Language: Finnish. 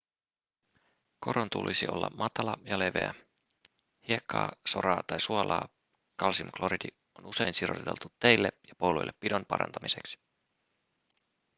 koron tulisi olla matala ja leveä. hiekkaa soraa tai suolaa kalsiumkloridi on usein siroteltu teille ja poluille pidon parantamiseksi